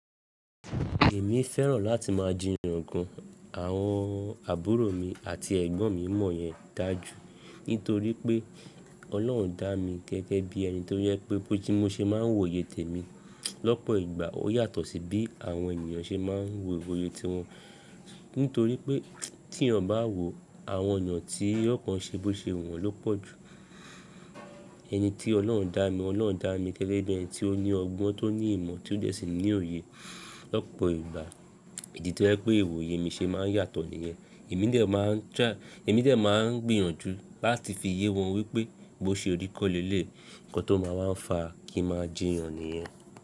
Èmi fẹ́ràn láti máa jiyan gùn àwọn àbúrò mi àti ẹ̀gbọ́n mi mọ́ yẹn dájú. Nítorí pé Ọlọ́run dá mi gẹ́gẹ́ bí ẹni tó yẹ pé bó ti mo ṣe máa ń wo oyè tèmi lọ́pọ̀ ìgbà ó yàtọ̀ sí bí àwọn ènìyàn ṣe máa ń wo oyè ti wọn. Nítorí pé tí ènìyàn bá wo àwọn ọ̀nà tí iyọ̀ kan ṣe bó ṣe wọ́n ló pọ̀ jù. Ẹni tí Ọlọ́run dá mi, Ọlọ́run dá mi gẹ́gẹ́ bí ẹni tí ó ní ọgbọ́n tó ní ìmọ̀ tí ó dé sí ní òye lọ́pọ̀ ìgbà. Èyí tí ó yẹ pé ìwòye mi ṣe máa ń yàtọ̀ nìyẹn. Èmi dè máa ń gbìyànjú láti fi yé wọn wípé bó ṣe orí kọ́lẹ́lẹ̀ kan tó máa ń fa kí n máa jiyan nìyẹn.